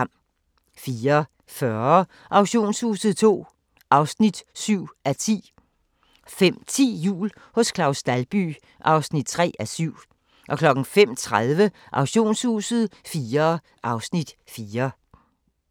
04:40: Auktionshuset II (7:10) 05:10: Jul hos Claus Dalby (3:7) 05:30: Auktionshuset IV (Afs. 4)